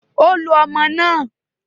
Ó lo ọmọ náà